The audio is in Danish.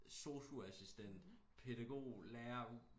Sosu-assistent pædagog lærer